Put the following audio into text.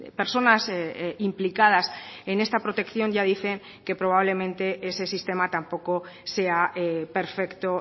personas implicadas en esta protección ya dicen que probablemente ese sistema tampoco sea perfecto